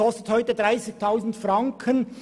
Er kostet heute 30 000 Franken.